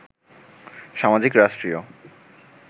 সামাজিক, রাষ্ট্রীয়